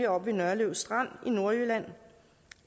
oppe ved nørlev strand i nordjylland